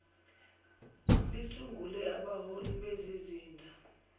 lisungule abahloli bezizinda